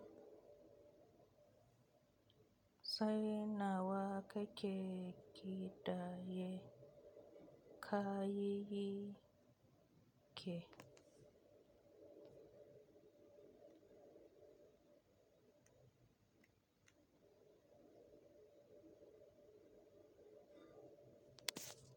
Kai nawa kake kidaye ka yiyi ke.